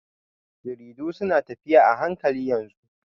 Jaridu suna tafiya a hankali yanzu